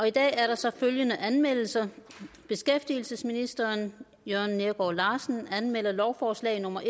i dag er der så følgende anmeldelser beskæftigelsesministeren lovforslag nummer